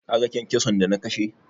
Kaga kyankyason da na kashe?